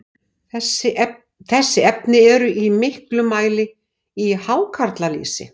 Þessi efni eru í miklum mæli í hákarlalýsi.